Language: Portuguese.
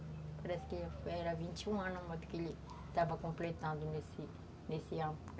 Parece que era vinte e um anos que ele estava completando nesse ano.